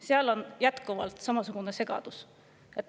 Seal on jätkuvalt samasugune segadus.